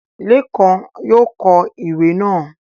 Lékan yóò kọ ìwé náà